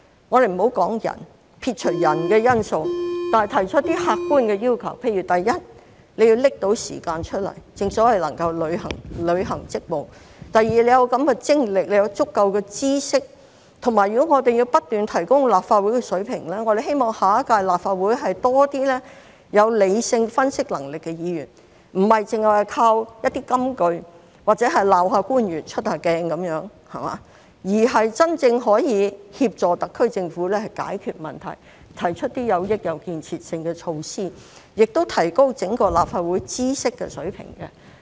我們不說人，撇除人的因素，但要提出一些客觀要求，例如第一，要拿出時間來，正所謂能夠履行職務；第二，要有精力和足夠知識，以及如果我們要不斷提高立法會水平，我們希望下一屆立法會多一些有理性分析能力的議員，不是只靠一些金句，或者責罵官員、出一下鏡，而是真正可以協助特區政府解決問題，提出一些有益有建設性的措施，亦提高整個立法會知識水平。